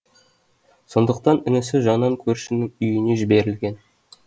сондықтан інісі жанан көршінің үйіне жіберілген